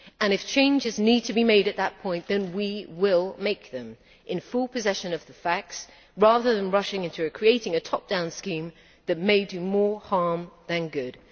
If changes need to be made at that point, then we will make them in full possession of the facts, rather than rushing into creating a top down scheme that may do more harm than good.